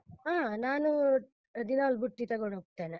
ಹಾ ನಾನೂ ದಿನಾಲು ಬುತ್ತಿ ತಗೊಂಡ್ಹೋಗ್ತೇನೆ.